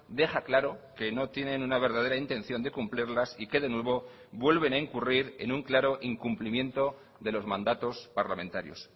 deja claro que no tienen una verdadera intención de cumplirlas y que de nuevo vuelven a incurrir en un claro incumplimiento de los mandatos parlamentarios